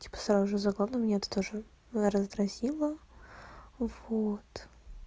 типа сразу же за горло меня это тоже раздразнило вот